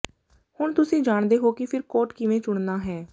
ਹੁਣ ਤੁਸੀਂ ਜਾਣਦੇ ਹੋ ਕਿ ਫਰ ਕੋਟ ਕਿਵੇਂ ਚੁਣਨਾ ਹੈ